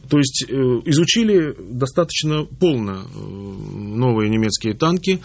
то есть изучили достаточно полно ээ новые немецкие танки